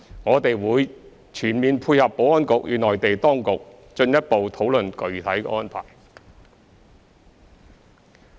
我們會全面配合保安局與內地當局進一步討論具體安排。